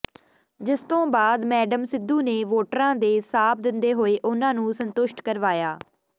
ਜਿਸਤੋਂ ਬਾਅਦ ਮੈਡਮ ਸਿੱਧੂ ਨੇ ਵੋਟਰਾਂ ਦੇ ਸਾਬ ਦਿੰਦੇ ਹੋਏ ਉਨ੍ਹਾਂ ਨੂੰ ਸੰਤੁਸ਼ਟ ਕਰਵਾਇਆ